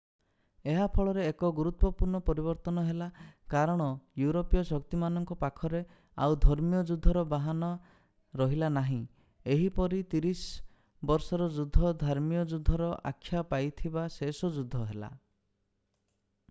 ଏହା ଫଳରେ ଏକ ଗୁରୁତ୍ୱପୂର୍ଣ୍ଣ ପରିବର୍ତ୍ତନ ହେଲା କାରଣ ୟୁରୋପୀୟ ଶକ୍ତିମାନଙ୍କ ପାଖରେ ଆଉ ଧର୍ମୀୟ ଯୁଦ୍ଧର ବାହାନା ରହିଲା ନାହିଁ ଏହିପରି ତିରିଶ ବର୍ଷର ଯୁଦ୍ଧ ଧର୍ମୀୟ ଯୁଦ୍ଧର ଆଖ୍ୟା ପାଇଥିବା ଶେଷ ଯୁଦ୍ଧ ହେଲା